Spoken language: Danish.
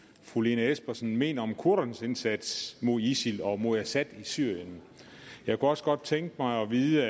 fru lene espersen mener om kurdernes indsats mod isil og mod assad i syrien jeg kunne også godt tænke mig at vide